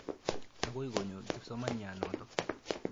Akoi konyo kipsomaniat notok.